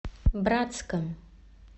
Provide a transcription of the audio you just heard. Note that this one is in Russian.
братском